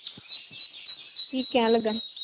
ਕੀ ਕਹਿਣ ਲੱਗਾ ਸੀ?